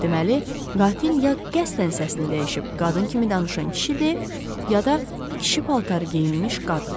Deməli, qatil ya qəsdən səsini dəyişib qadın kimi danışan kişidir, ya da kişi paltarı geyinmiş qadın.